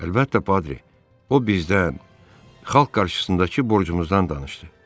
Əlbəttə, Patri, o bizdən xalq qarşısındakı borcumuzdan danışdı.